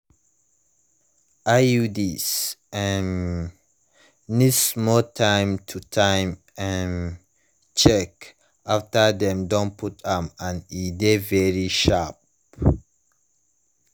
iuds um need small time to time um check after dem don put am and e de very sharp